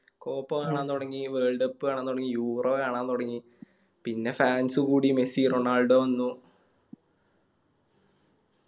Copa കാണാൻ തൊടങ്ങി Worldcup കാണാൻ തൊടങ്ങി Eureo കാണാൻ തൊടങ്ങിപിന്നെ Fans കൂടി മെസ്സി റൊണാൾഡോ വന്നു